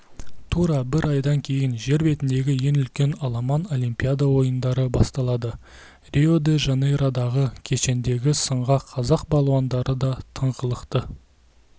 тура бір айдан кейін жер бетіндегі ең үлкен аламан олимпиада ойындары басталады рио де жанейродағы кешенді сынға қазақ балуандары да тыңғылықты